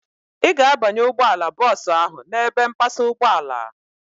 Ị ga-abanye ụgbọala bọọsu ahu n'ebe mpasa ụgbọala